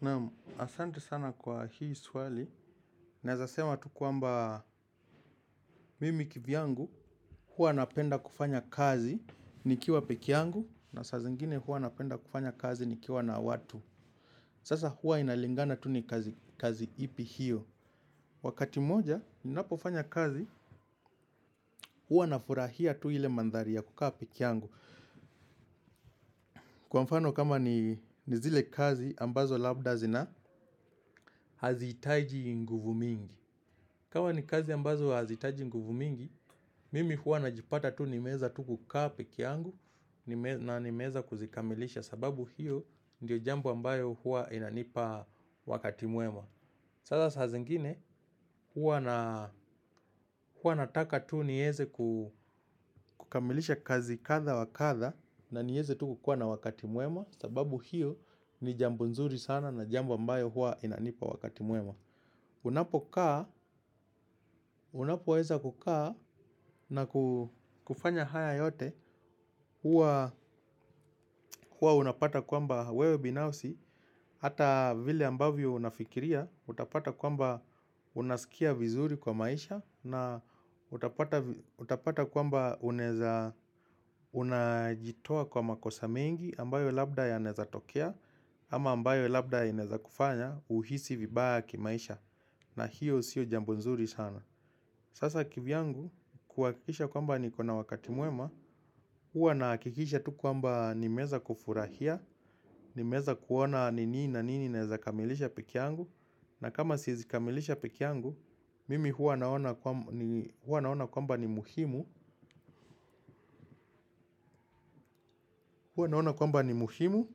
Naam, asante sana kwa hii swali, naezasema tu kwamba mimi kivyangu, hua napenda kufanya kazi nikiwa pekee yangu, na sasa zingine huwa napenda kufanya kazi nikiwa na watu. Sasa huwa inalingana tu ni kazi ipi hiyo. Wakati mmoja, ninapofanya kazi, huwa nafurahia tu ile mandhari ya kukaa pekee yangu. Kwa mfano kama ni zile kazi, ambazo labda zina hazihitaji nguvu mingi. Kama ni kazi ambazo hazihitaji nguvu mingi, mimi huwa na jipata tu nimeweza tu kukaa pekee yangu na nimeweza kuzikamilisha sababu hiyo ndiyo jambo ambayo huwa inanipa wakati mwema. Sasa saa zingine huwa nataka tu nieze kukamilisha kazi kadha wa kadha na nieze tu kukuwa na wakati mwema sababu hiyo ni jambo nzuri sana na jambo ambayo huwa inanipa wakati mwema. Unapo kaa, unapo weza kukaa na kufanya haya yote. Huwa unapata kwamba wewe binafsi hata vile ambavyo unafikiria utapata kwamba unasikia vizuri kwa maisha. Na utapata utapata kwamba unaeza unajitoa kwa makosa mengi ambayo labda yanaeza tokea. Ama ambayo labda yanaweza kufanya uhisi vibaya kimaisha. Na hiyo sio jambo nzuri sana. Sasa kivyangu kuhakikisha kwamba niko na wakati mwema. Huwa nahakikisha tu kwamba nimeweza kufurahia. Nimeweza kuona ni nini na nini na weza kamilisha pekee yangu. Na kama siwezi kamilisha pekee yangu mimi huwa naona kwamba ni muhimu. Hua naona kwamba ni muhimu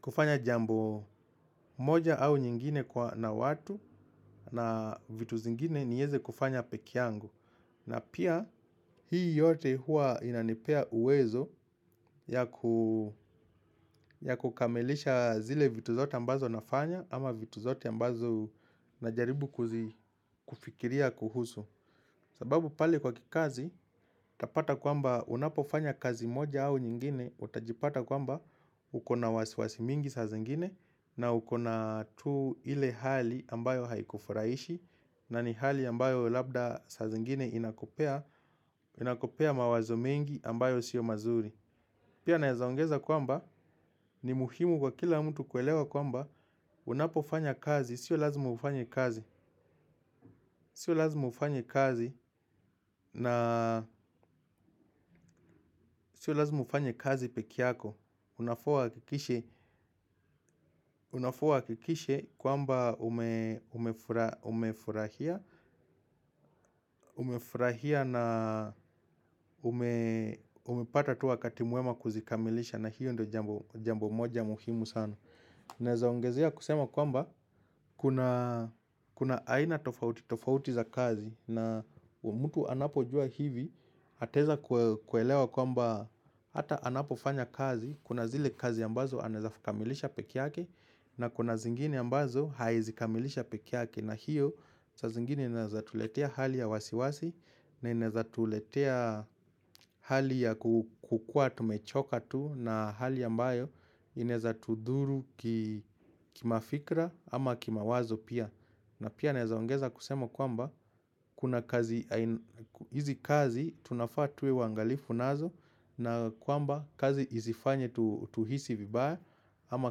kufanya jambo moja au nyingine kwa na watu. Na vitu zingine nieze kufanya pekee yangu. Na pia hii yote hua inanipea uwezo ya kukamilisha zile vitu zote ambazo nafanya ama vitu zote ambazo najaribu kufikiria kuhusu. Sababu pale kwa kikazi, utapata kwamba unapofanya kazi moja au nyingine, utajipata kwamba uko na wasiwasi mingi saa zingine na ukona tu ile hali ambayo haikufurahishi na ni hali ambayo labda sa zingine inakupea mawazo mengi ambayo sio mazuri. Pia naeza ongeza kwamba ni muhimu kwa kila mtu kuelewa kwamba unapofanya kazi, sio lazimu ufanye kazi, sio lazimu ufanye kazi na sio lazimu ufanye kazi pekee yako. Unafaa uhakikishe kwamba umefurahia na umepata tu wakati mwema kuzikamilisha na hiyo ndio jambo moja muhimu sana. Naezaongezea kusema kwamba kuna aina tofauti tofauti za kazi na mtu anapojua hivi ateweza kuelewa kwamba hata anapofanya kazi. Kuna zile kazi ambazo anaeza kamilisha pekee yake na kuna zingine ambazo haezi kamilisha pekee yake. Na hiyo sa zingine inawezatuletea hali ya wasiwasi na inaezatuletea hali ya kukua tumechoka tu na hali ya mbayo inaezatudhuru kima fikra ama kimawazo pia. Na pia naezaongeza kusema kwamba kuna kazi, hizi kazi tunafaa tuwe wangalifu nazo na kwamba kazi isifanye tuhisi vibaya ama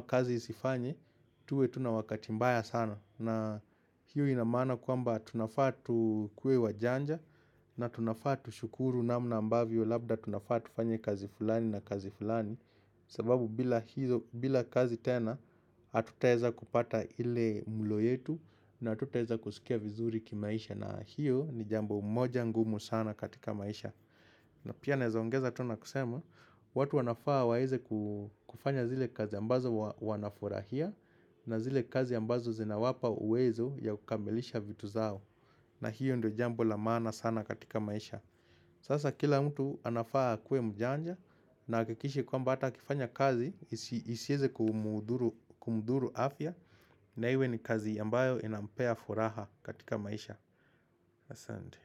kazi isifanye tuwe tuna wakati mbaya sana. Na hiyo inamaana kwamba tunafaa tukuwe wa janja na tunafa tu shukuru namna ambavyo labda tunafaa tufanye kazi fulani na kazi fulani. Sababu bila kazi tena hatutaweza kupata ile mlo yetu na hatutaweza kusikia vizuri kimaisha na hiyo ni jambo moja ngumu sana katika maisha. Na pia naezaongeza tu na kusema watu wanafaa waweze kufanya zile kazi ambazo wanafurahia. Na zile kazi ambazo zina wapa uwezo ya kukamilisha vitu zao. Na hiyo ndio jambo la maana sana katika maisha. Sasa kila mtu anafaa akuwe mjanja. Na ahakikishe kwamba hata akifanya kazi isieze kumudhuru afya. Na iwe ni kazi ambayo inampea furaha katika maisha. Asante.